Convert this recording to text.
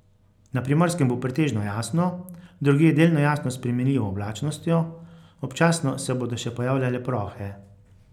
Na Primorskem bo pretežno jasno, drugje delno jasno s spremenljivo oblačnostjo, občasno se bodo še pojavljale plohe.